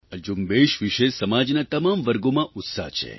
આ ઝુંબેશ વિષે સમાજના તમામ વર્ગોમાં ઉત્સાહ છે